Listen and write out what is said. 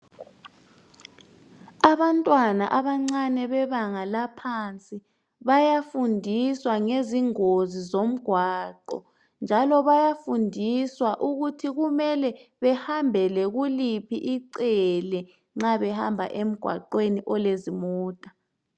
Abantwana abancane bebanga laphansi bayafundiswa ngezingozi zomgwaqo njalo bayafundiswa ukuthi kumele behambele kuliphi icele nxa behamba emgwaqweni olezimota.